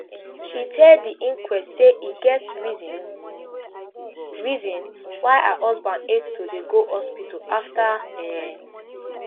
she tell di inquest say e get reason reason why her husband hate to dey go hospital afta um